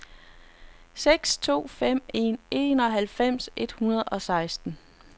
seks to fem en enoghalvfems et hundrede og seksten